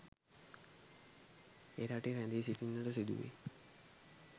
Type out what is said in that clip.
එරටේ රැඳී සිටින්නට සිදුවෙයි